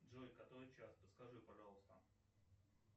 джой который час подскажи пожалуйста